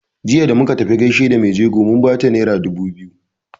Jiya da muka tafi gaishe da mai jego mun bata naira dubu biyu.